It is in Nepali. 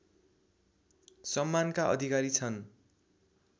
सम्मानका अधिकारी छन्